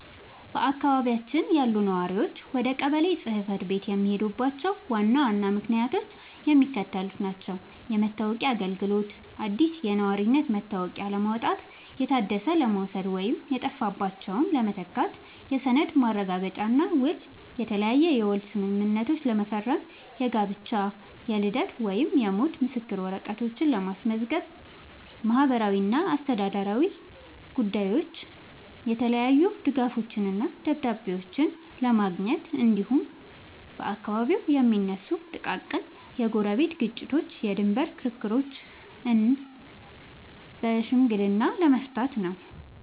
በአካባቢያችን ያሉ ነዋሪዎች ወደ ቀበሌ ጽሕፈት ቤት የሚሄዱባቸው ዋና ዋና ምክንያቶች የሚከተሉት ናቸው፦ የመታወቂያ አገልግሎት፦ አዲስ የነዋሪነት መታወቂያ ለማውጣት፣ የታደሰ ለመውሰድ ወይም የጠፋባቸውን ለመተካት። የሰነድ ማረጋገጫና ውል፦ የተለያየ የውል ስምምነቶችን ለመፈረም፣ የጋብቻ፣ የልደት ወይም የሞት ምስክር ወረቀቶችን ለማስመዝገብ። ማህበራዊና አስተዳደራዊ ጉዳዮች፦ የተለያዩ ድጋፎችንና ደብዳቤዎችን ለማግኘት፣ እንዲሁም በአካባቢው የሚነሱ ጥቃቅን የጎረቤት ግጭቶችንና የድንበር ክርክሮችን በሽምግልና ለመፍታት ነው።